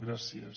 gràcies